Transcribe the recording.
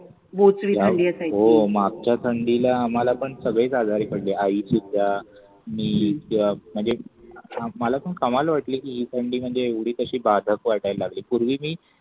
हो मागच्या थंडीला आम्हाला पण सगळेच आजारी पडले. आईशुद्धा, मी किवा म्हणजे आम्हाला पण कमाल वाटली थंडी म्हणजे एवढी तशी बाधक वाटायला लागली पूर्वी मी